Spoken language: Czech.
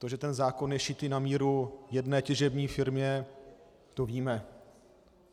To, že ten zákon je šitý na míru jedné těžební firmě, to víme.